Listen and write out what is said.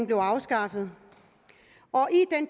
blev afskaffet og